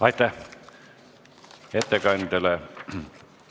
Aitäh ettekandjale!